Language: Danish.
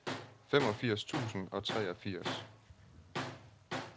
femogfirs tusind og treogfirs